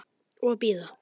Og bíða.